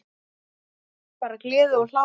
Bara gleði og hlátur.